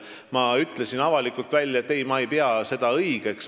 Ma ütlesin avalikult välja, et ei, ma ei pea seda õigeks.